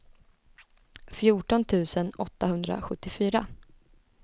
fjorton tusen åttahundrasjuttiofyra